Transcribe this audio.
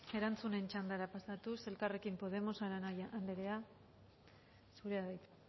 erantzunen txandara pasatuz elkarrekin podemos arana anderea zurea da hitza